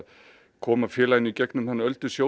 koma félaginu í gegnum þennan